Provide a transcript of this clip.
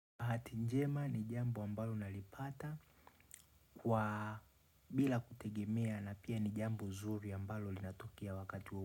Bahati njema ni jambo ambalo unalipata bila kutegemea na pia ni jambo nzuri ambalo linatokea wakati.